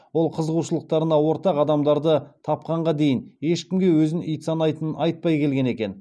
ол қызығушылықтарына ортақ адамдарды тапқанға дейін ешкімге өзін ит санайтынын айтпай келген екен